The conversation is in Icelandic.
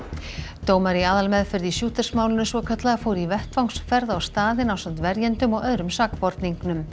dómari í aðalmeðferð í svokallaða fór í vettvangsferð á staðinn ásamt verjendum og öðrum sakborningnum